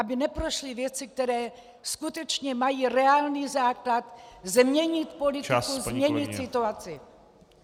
Aby neprošly věci, které skutečně mají reálný základ změnit politiku , změnit situaci.